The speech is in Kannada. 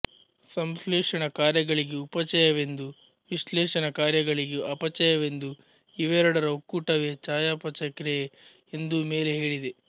ಸಂಶ್ಲೇಷಣ ಕಾರ್ಯಗಳಿಗೆ ಉಪಚಯವೆಂದೂ ವಿಶ್ಲೇಷಣ ಕಾರ್ಯಗಳಿಗೆ ಅಪಚಯವೆಂದೂ ಇವೆರಡರ ಒಕ್ಕೂಟವೇ ಚಯಾಪಚಯಕ್ರಿಯೆ ಎಂದೂ ಮೇಲೆ ಹೇಳಿದೆ